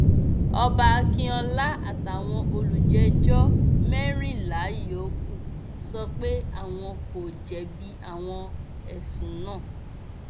ọba akínọlá àtàwọn olùjẹjọ mẹrìnlá yòókù sọ pé àwọn kò jẹbi àwọn ẹsùn náà